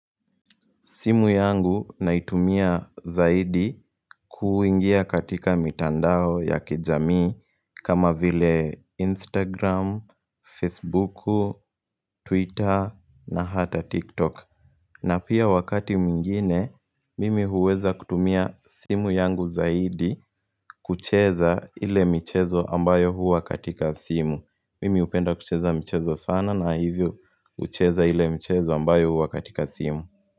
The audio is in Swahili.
Simu yangu naitumia zaidi kuingia katika mitandao ya kijamii kama vile Instagram, Facebook, Twitter na hata TikTok. Na pia wakati mwingine, mimi huweza kutumia simu yangu zaidi kucheza ile michezo ambayo huwa katika simu. Mimi hupenda kucheza michezo sana na hivyo hucheza ile mchezo ambayo huwa katika simu.